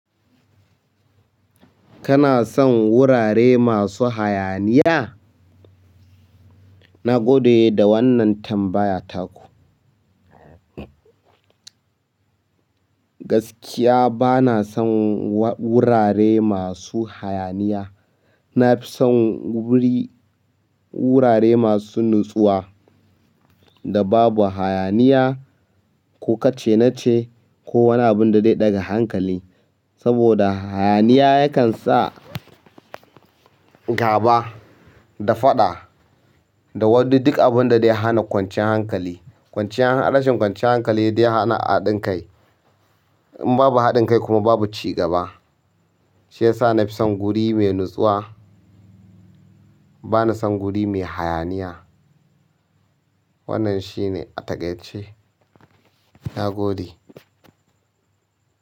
Kana son wurare masu hayaniya? Na gode da wannan tambaya taku. Gaskiya bana son wurare masu hayaniya. Na fi son wuri, wurare masu natsuwa da babu hayaniya ko kace-nace ko wani abunda zai daga hankali. Saboda hayaniya yakan sa gaba da faɗa da wani duk abunda dai hana kwanciyar hankali. Rashin kwanciyan hankali dai hana haɗin kai. In babu haɗin kai kuma babu cigaba. Shi yasa na fi son guri mai natsuwa. Bana son guri mai hayaniya. Wannan shine ataƙaice. Na gode.